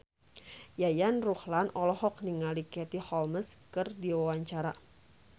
Yayan Ruhlan olohok ningali Katie Holmes keur diwawancara